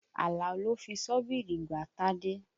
Àlàó lò fi ṣọ́bìrì gbá Tádé.